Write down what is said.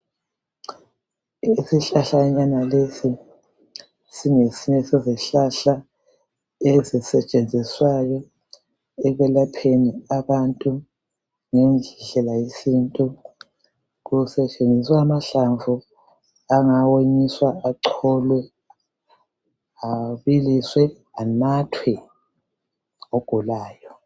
Isihlahlanyana lesi singesinye sezihlahla ezisetshenziswayo ekwelapheni abantu ngendlela yesintu. Kusetshenziswa amahlamvu angawonyiswa, acholwe, abiliswe anathwe ngogulayo.